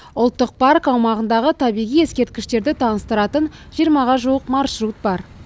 ұлттық парк аумағындағы табиғи ескерткіштерді таныстыратын жиырмаға жуық маршрут бар